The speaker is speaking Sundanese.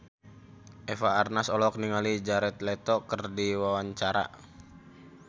Eva Arnaz olohok ningali Jared Leto keur diwawancara